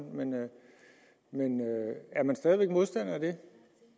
men er man stadig væk modstander af det